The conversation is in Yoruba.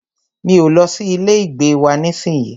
Mi o lọ sí ilé ìgbé wa nísìyí.